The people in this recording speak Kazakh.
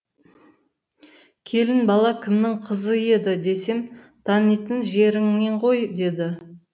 келін бала кімнің қызы еді десем танитын жеріңнен ғой дейді